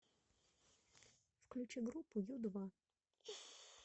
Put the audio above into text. включи группу ю два